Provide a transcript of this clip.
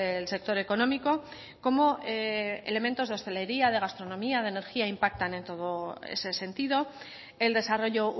el sector económico como elementos de hostelería de gastronomía de energía impactan en todo ese sentido el desarrollo